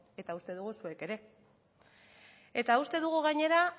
eta uste dugu zuek ere eta uste dugu gainera